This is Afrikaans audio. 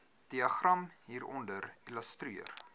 diagram hieronder illustreer